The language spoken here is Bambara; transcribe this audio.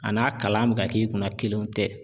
A n'a kalan bɛ ka k'i kunna kelenw tɛ.